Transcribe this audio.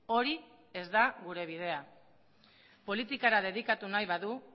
hori ez da gure bidea politikara dedikatu nahi badu